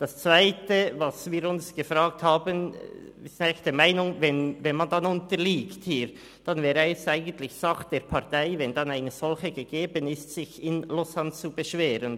Das Zweite, das wir uns gefragt haben: Wir sind der Meinung, dass wenn man unterliegt, es dann eigentlich Sache der Partei wäre – wenn denn eine solche gegeben ist –, sich in Lausanne zu beschweren.